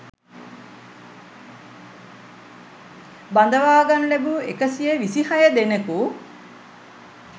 බඳවා ගනු ලැබූ එකසිය විසිහය දෙනෙකු